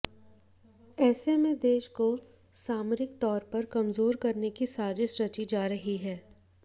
ऐसे में देश को सामरिक तौर पर कमजोर करने की साजिश रची जा रही है